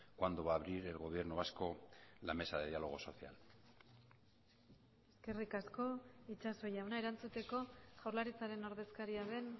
cuándo va a abrir el gobierno vasco la mesa de diálogo social eskerrik asko itxaso jauna erantzuteko jaurlaritzaren ordezkaria den